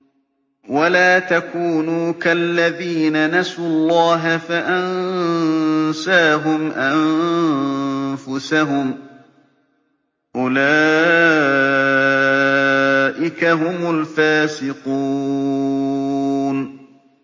وَلَا تَكُونُوا كَالَّذِينَ نَسُوا اللَّهَ فَأَنسَاهُمْ أَنفُسَهُمْ ۚ أُولَٰئِكَ هُمُ الْفَاسِقُونَ